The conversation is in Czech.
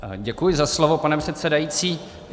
Děkuji za slovo, pane předsedající.